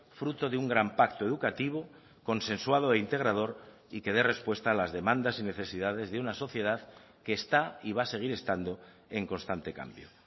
fruto de un gran pacto educativo consensuado e integrador y que dé respuesta a las demandas y necesidades de una sociedad que está y va a seguir estando en constante cambio